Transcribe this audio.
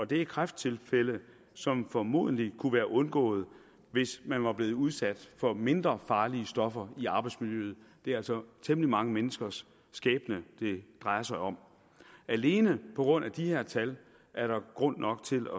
det er kræfttilfælde som formodentlig kunne være undgået hvis man var blevet udsat for mindre farlige stoffer i arbejdsmiljøet det er altså temmelig mange menneskers skæbne det drejer sig om og alene på grund af de her tal er der grund nok til